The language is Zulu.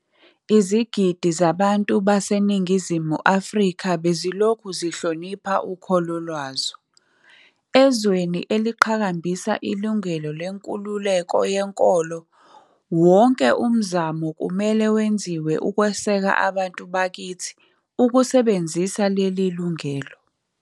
Izigidi zabantu baseNingizimu Afrika bezilokhu zihlonipha ukholo lwazo. Ezweni eliqhakambisa ilungelo lenkululeko yenkolo, wonke umzamo kumele wenziwe ukweseka abantu bakithi ukusebenzisa leli lungelo.